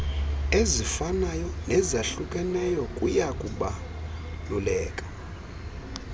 ezifanayo nezahlukeneyo kuyakubaluleka